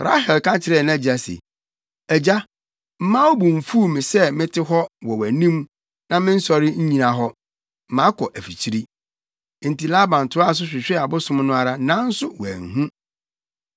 Rahel ka kyerɛɛ nʼagya se, “Agya, mma wo bo mfuw me sɛ mete hɔ wɔ wʼanim na mennsɔre nnyina hɔ, makɔ afikyiri.” Enti Laban toaa so hwehwɛɛ abosom no ara, nanso wanhu.